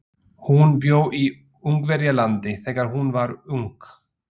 Hún bjó í Ungverjalandi þegar hún var ung.